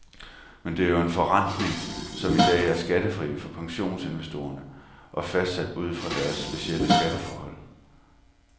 Men det er jo en forrentning, som i dag er skattefri for pensionsinvestorerne og fastsat ud fra deres specielle skatteforhold.